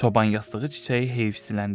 Çoban yastığı çiçəyi heyfsiləndi.